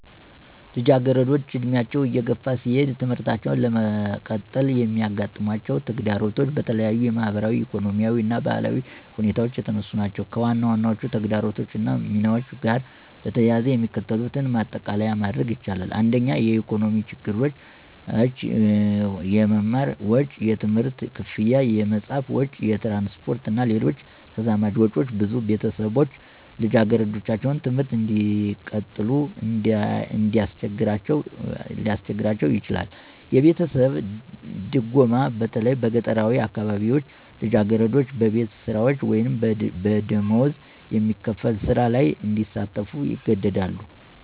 ልጃገረዶች ዕድሜያቸው እየገፋ ሲሄድ ትምህርታቸውን ለመቀጠል የሚያጋጥማቸው ተግዳሮቶች በተለያዩ ማኅበራዊ፣ ኢኮኖሚያዊ እና ባህላዊ ሁኔታዎች የተነሱ ናቸው። ከዋናዎቹ ተግዳሮቶች እና ሚናቸው ጋር በተያያዘ የሚከተሉትን ማጠቃለያ ማድረግ ይቻላል። 1. **የኢኮኖሚ ችግሮች** - **የመማር ወጪ** የትምህርት ክፍያ፣ የመጽሐፍ ወጪ፣ የትራንስፖርት እና ሌሎች ተዛማጅ ወጪዎች ብዙ ቤተሰቦች ልጃገረዶቻቸውን ትምህርት እንዲቀጥሉ እንዲያስቸግራቸው ይችላል። - **የቤተሰብ ድጎማ** በተለይ በገጠራዊ አካባቢዎች ልጃገረዶች በቤት ስራዎች ወይም በደሞዝ የሚከፈል ሥራ ላይ እንዲሳተፉ ይገደዳሉ